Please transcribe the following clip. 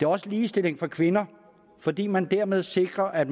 også ligestilling for kvinder fordi man dermed sikrer at